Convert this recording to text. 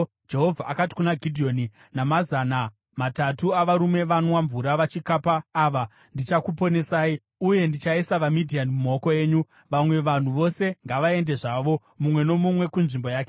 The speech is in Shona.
Jehovha akati kuna Gidheoni, “Namazana matatu avarume vanwa mvura vachikapa ava, ndichakuponesai uye ndichaisa vaMidhiani mumaoko enyu. Vamwe vanhu vose ngavaende zvavo, mumwe nomumwe kunzvimbo yake.”